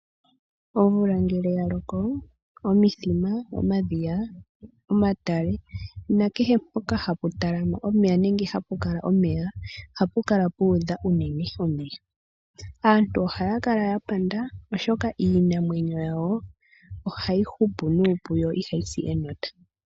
Omvula ngele ya loko omithima, omadhiya, omatale nakehe mpoka hapu talama omeya nenge hapu kala omeya, ohapu kala pu udha unene omeya. Aantu ohaya kala ya panda oshoka iinamwenyo yawo ohayi hupu nuupu yo ihayi si enota.